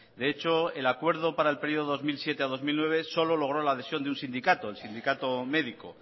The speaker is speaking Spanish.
de hecho el acuerdo para el periodo dos mil siete dos mil nueve solo logró la adhesión de un sindicato el sindicato médico